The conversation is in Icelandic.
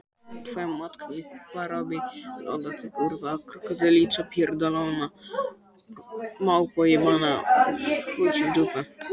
Kristvarður, hvernig er dagskráin í dag?